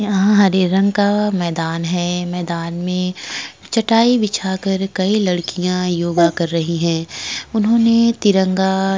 यहाँ हरे रंग का मैदान है। मैदान में चटाई बिछाकर कई लड़कियां योगा कर रही हैं। उन्होंने तिरंगा --